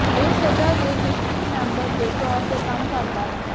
ਇਹ ਸਜ਼ਾ ਦੇ ਨਿਸ਼ਚਤ ਮੈਂਬਰ ਦੇ ਤੌਰ ਤੇ ਕੰਮ ਕਰਦਾ ਹੈ